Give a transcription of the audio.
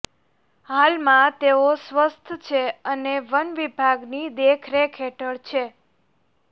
હાલમાં તેઓ સ્વસ્થ છે અને વનવિભાગની દેખરેખ હેઠળ છે